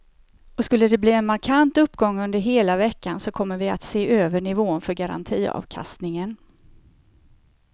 Och skulle de bli en markant uppgång under hela veckan så kommer vi att se över nivån för garantiavkastningen.